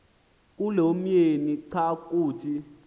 kulomyeni xa kuthi